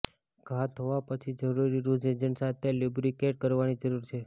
ઘા ધોવા પછી જરૂરી રૂઝ એજન્ટ સાથે લ્યુબ્રિકેટ કરવાની જરૂર છે